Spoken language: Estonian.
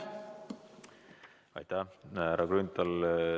Aitäh, härra Grünthal!